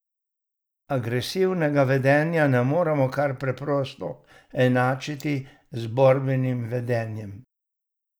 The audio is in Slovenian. Agresivnega vedenja ne moremo kar preprosto enačiti z borbenih vedenjem.